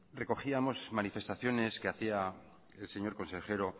recogíamos manifestaciones que hacía el señor consejero